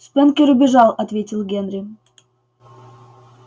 спэнкер убежал ответил генри